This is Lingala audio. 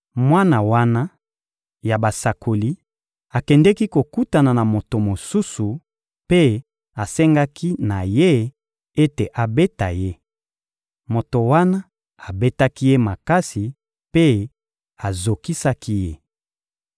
Mwana wana ya basakoli akendeki kokutana na moto mosusu mpe asengaki na ye ete abeta ye. Moto wana abetaki ye makasi mpe azokisaki ye.